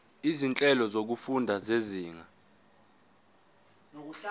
izinhlelo zokufunda zezinga